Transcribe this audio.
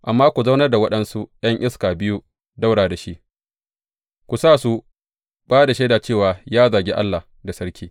Amma ku zaunar da waɗansu ’yan iska biyu ɗaura da shi, ku sa su ba da shaida cewa ya zagi Allah da sarki.